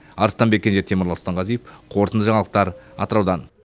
арыстанбек кенже темірлан сұлтанғазиев қорытынды жаңалықтар атыраудан